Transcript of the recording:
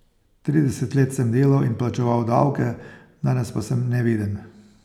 Trideset let sem delal in plačeval davke, danes pa sem neviden.